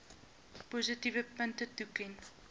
positiewe punte toeken